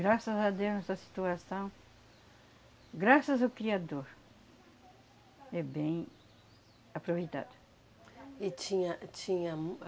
Graças a Deus nessa situação, graças ao Criador, é bem aproveitado. E tinha, eh tinha uma